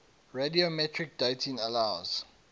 radiometric dating allows